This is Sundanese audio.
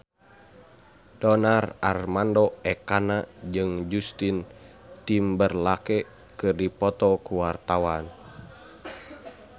Donar Armando Ekana jeung Justin Timberlake keur dipoto ku wartawan